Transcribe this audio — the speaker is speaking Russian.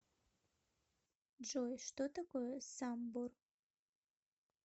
джой что такое самбор